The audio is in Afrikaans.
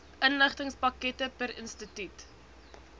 inligtingspakkette per instituut